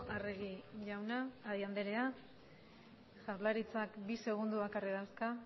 eskerrik asko arregi anderea jaurlaritzak bi segundo bakarrik dauzka